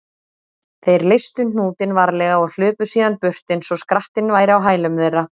Þeir leystu hnútinn varlega og hlupu síðan burt eins og skrattinn væri á hælum þeirra.